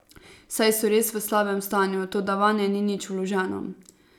Saj so res v slabem stanju, toda vanje ni nič vloženo.